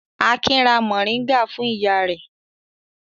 Akin ra mòríngà fún ìyá rẹ̀.